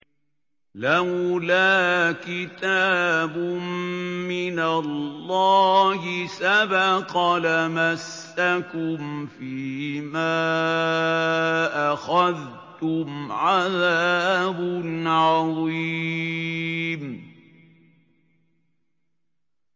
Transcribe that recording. لَّوْلَا كِتَابٌ مِّنَ اللَّهِ سَبَقَ لَمَسَّكُمْ فِيمَا أَخَذْتُمْ عَذَابٌ عَظِيمٌ